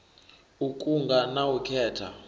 u kunga na u khetha